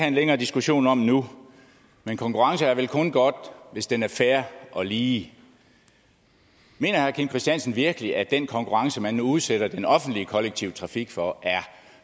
en længere diskussion om nu men konkurrence er vel kun godt hvis den er fair og lige mener herre kim christiansen virkelig at den konkurrence man nu udsætter den offentlige kollektive trafik for er